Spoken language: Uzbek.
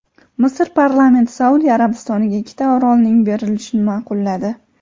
Misr parlamenti Saudiya Arabistoniga ikkita orolning berilishini ma’qulladi.